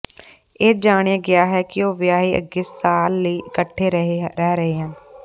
ਇਹ ਜਾਣਿਆ ਗਿਆ ਹੈ ਕਿ ਉਹ ਵਿਆਹੇ ਅੱਗੇ ਸਾਲ ਲਈ ਇਕੱਠੇ ਰਹਿ ਰਹੇ ਹਨ